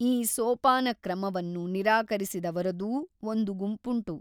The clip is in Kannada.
ಈ ಸೋಪಾನಕ್ರಮವನ್ನು ನಿರಾಕರಿಸಿದವರದೂ ಒಂದು ಗುಂಪುಂಟು.